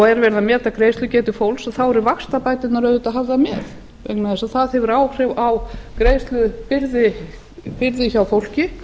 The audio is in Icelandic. er verið að meta greiðslugetu fólks þá eru vaxtabæturnar auðvitað hafðar með vegna þess að það hefur áhrif á greiðslubyrði hjá fólki